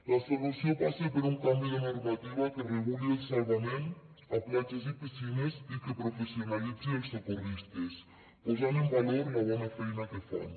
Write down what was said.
la solució passa per un canvi de normativa que reguli el salvament a platges i piscines i que professionalitzi els socorristes posant en valor la bona feina que fan